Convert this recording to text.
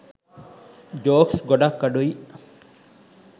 Jokes ගොඩක් අඩුයි.